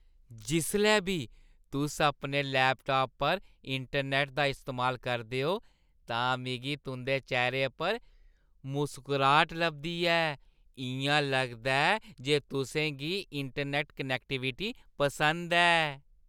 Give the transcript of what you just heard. जिसलै बी तुस अपने लैपटाप पर इंटरनैट्ट दा इस्तेमाल करदे ओ तां मिगी तुंʼदे चेह्‌रे उप्पर मुसकराहट लभदी ऐ। इʼयां लगदा ऐ जे तुसें गी इंटरनैट्ट कनैक्टीविटी पसंद ऐ!